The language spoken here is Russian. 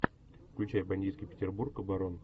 включай бандитский петербург барон